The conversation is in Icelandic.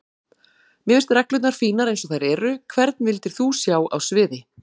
Mér finnst reglurnar fínar eins og þær eru Hvern vildir þú sjá á sviði?